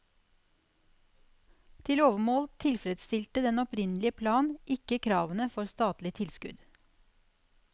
Til overmål tilfredsstilte den opprinnelige plan ikke kravene for statlig tilskudd.